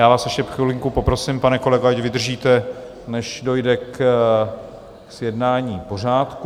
Já vás ještě chvilku poprosím, pane kolego, ať vydržíte, než dojde k zjednání pořádku.